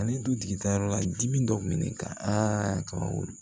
Ani dutigi ta yɔrɔ la dimi dɔ kun bɛ ne kan kaba wolo